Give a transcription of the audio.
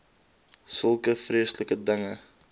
sulke vreeslike dinge